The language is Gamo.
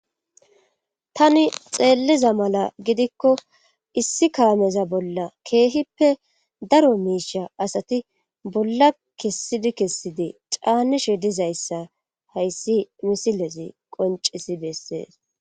Tani xeelliza mala gidikko issi kaameza bolla keehippe daro miisha asati bolla kessidi kessidi caanishe dizayssa hayssi misilezi qoncisi bessees.